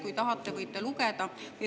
Kui tahate, võite lugeda.